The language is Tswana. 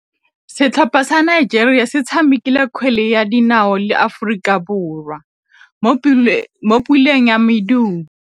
Setlhopha sa Nigeria se tshamekile kgwele ya dinaô le Aforika Borwa mo puleng ya medupe.